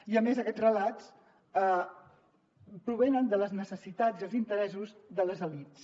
i a més aquests relats provenen de les necessitats i els interessos de les elits